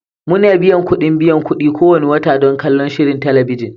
Muna biyan kuɗin biyan kuɗi kowane wata don kallon shirin talabijin